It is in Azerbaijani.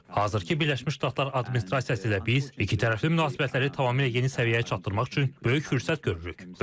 Hazırki Birləşmiş Ştatlar administrasiyası ilə biz ikitərəfli münasibətləri tamamilə yeni səviyyəyə çatdırmaq üçün böyük fürsət görürük.